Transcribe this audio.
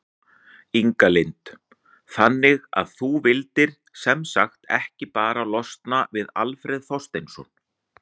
Inga Lind: Þannig að þú vildir sem sagt ekki bara losna við Alfreð Þorsteinsson?